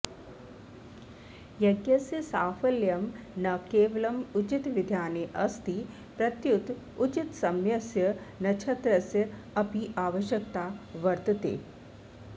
यज्ञस्य साफल्यं न केवलम् उचितविधानेऽस्ति प्रत्युत उचितसमयस्य नक्षत्रस्य अपि आवश्यकता वर्त्तते